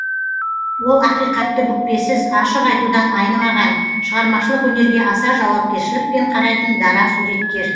ол ақиқатты бүкпесіз ашық айтудан айнымаған шығармашылық өнерге аса жауапкершілікпен қарайтын дара суреткер